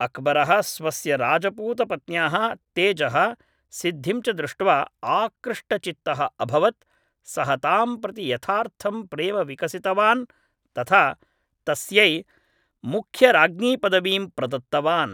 अक्बरः स्वस्य राजपूतपत्न्याः तेजः, सिद्धिं च दृष्ट्वा आकृष्टचित्तः अभवत्, सः तां प्रति यथार्थं प्रेम विकसितवान् तथा तस्यै मुख्यराज्ञीपदवीं प्रदत्तवान्।